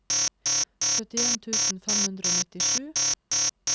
syttien tusen fem hundre og nittisju